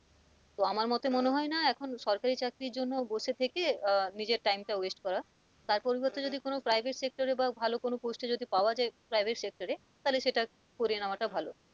তো আমার মতে মনে হয় না এখন সরকারি চাকরি জন্য আর বসে থেকে আহ নিজের time টা waste করার তার পরিবর্তে যদি কোন private sector এ বা ভালো কোন post এ যদি পাওয়া যাই private sector এ তাহলে সেটার করে নেওয়াটা ভালো,